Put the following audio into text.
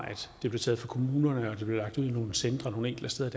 kommunerne og lagt nogle centre nogle enkelte steder